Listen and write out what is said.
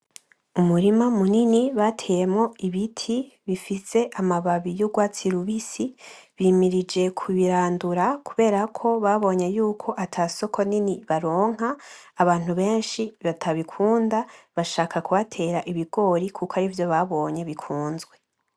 Umurima munini bateyemwo ibiti bifise amababi y'urwatsi rubisi, bimirije kubirandura kubera ko babonye yuko ata soko nini baronka abantu benshi batabikunda bashaka kuhatera ibigori kuko arivyo babonye bikunzwe.